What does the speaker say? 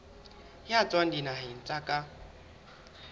ya tswang dinaheng tsa ka